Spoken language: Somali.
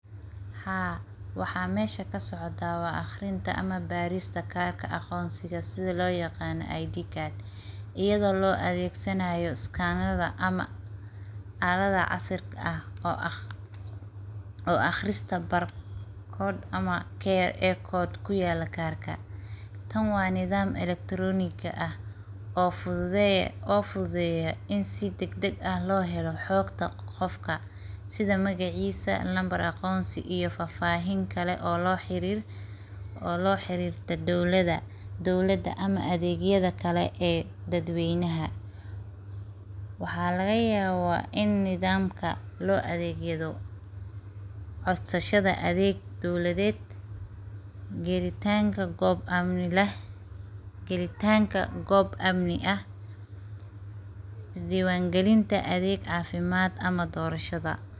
Haa waxa mesha kasocota waa aqrinta ama barista karka aqonsiga sidhaa loo yaqano Id Card iyadoo loo adegsanayo scanada ama calada casirka ah oo aqrista barcode ama kra code ku yala karka tan wa nidham electronik ah oo fududeyaa ini si dag dag ah lo helo hogta qofka sidha magacisa, nambar aqonsi iyo fafahin kale oo lo xirirto dowlada ama adegyada kale ee dadweynaha. Waxa laga yaba ini nidhamka loo adegyadho codshasada adeg dowladed gelitanka gob amni ah, isdiwan gelinta adeg cafimaad ama dorashada.